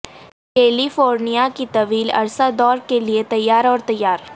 کیلی فورنیا کی طویل عرصہ دور کے لئے تیار اور تیار